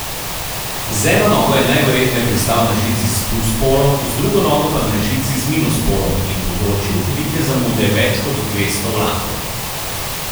Z eno nogo je najverjetneje pristal na žici s plus polom, z drugo nogo pa na žici z minus polom in povzročil velike zamude več kot dvesto vlakov.